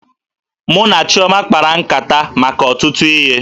Mụ na Chioma kpara nkata maka ọtụtụ ihe